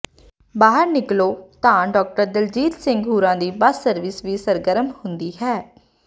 ਬਾਹਰ ਨਿਕਲੋ ਤਾਂ ਡਾਕਟਰ ਦਲਜੀਤ ਸਿੰਘ ਹੁਰਾਂ ਦੀ ਬਸ ਸਰਵਿਸ ਵੀ ਸਰਗਰਮ ਹੁੰਦੀ ਹੈ